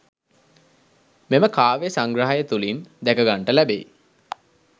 මෙම කාව්‍ය සංග්‍රහය තුළින් දැකගන්ට ලැබෙයි